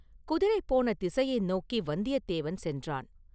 குதிரை போன திசையை நோக்கி வந்தியத்தேவன் சென்றான்.